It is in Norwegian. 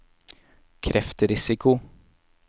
kreftrisiko